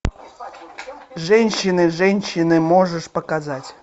женщины женщины можешь показать